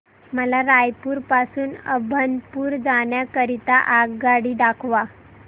मला रायपुर पासून अभनपुर जाण्या करीता आगगाडी दाखवा